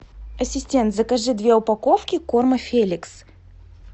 ассистент закажи две упаковки корма феликс